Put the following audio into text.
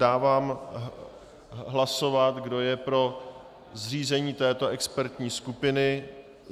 Dávám hlasovat, kdo je pro zřízení této expertní skupiny.